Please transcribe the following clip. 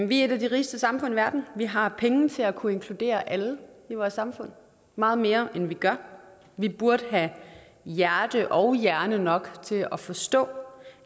vi er et af de rigeste samfund i verden vi har penge til at kunne inkludere alle i vores samfund meget mere end vi gør vi burde have hjerte og hjerne nok til at forstå